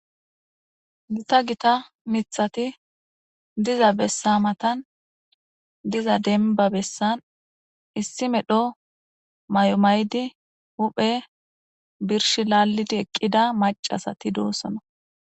gita gita mithati diza bessa matan diza denba bessan issi medho may7o maydi huphe birsh laallidi eqqida macasati doossona